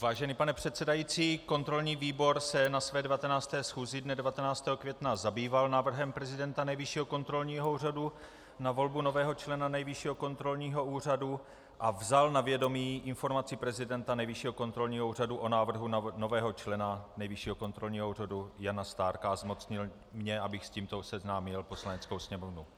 Vážený pane předsedající, kontrolní výbor se na své 19. schůzi dne 19. května zabýval návrhem prezidenta Nejvyššího kontrolního úřadu na volbu nového člena Nejvyššího kontrolního úřadu, vzal na vědomí informaci prezidenta Nejvyššího kontrolního úřadu o návrhu nového člena Nejvyššího kontrolního úřadu Jana Stárka a zmocnil mě, abych s tímto seznámil Poslaneckou sněmovnu.